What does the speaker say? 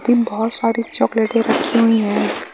बहोत सी चॉकलेट्स रखी हुई है।